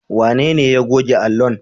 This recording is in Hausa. Wanene ya goge allon?